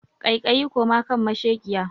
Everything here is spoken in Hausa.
Kaikayi koma kan mashekiya!